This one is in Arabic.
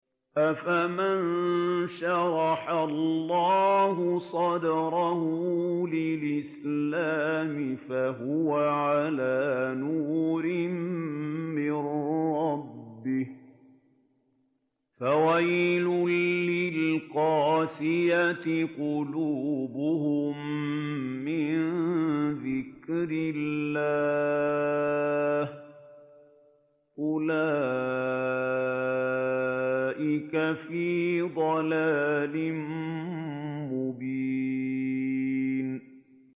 أَفَمَن شَرَحَ اللَّهُ صَدْرَهُ لِلْإِسْلَامِ فَهُوَ عَلَىٰ نُورٍ مِّن رَّبِّهِ ۚ فَوَيْلٌ لِّلْقَاسِيَةِ قُلُوبُهُم مِّن ذِكْرِ اللَّهِ ۚ أُولَٰئِكَ فِي ضَلَالٍ مُّبِينٍ